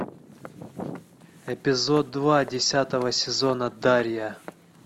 эпизод два десятого сезона дарья